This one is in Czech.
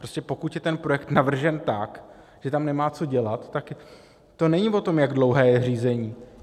Prostě pokud je ten projekt navržen tak, že tam nemá co dělat, tak to není o tom, jak dlouhé je řízení.